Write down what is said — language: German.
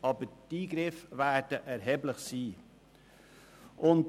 Aber die Eingriffe werden erheblich sein.